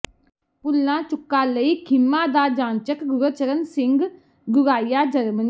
ਭੁਲਾਂ ਚੁਕਾ ਲਈ ਖਿਮਾ ਦਾ ਜਾਂਚਕ ਗੁਰਚਰਨ ਸਿੰਘ ਗੁਰਾਇਆ ਜਰਮਨੀ